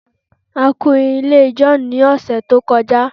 a kun ilé John ni ọsẹ to kọjá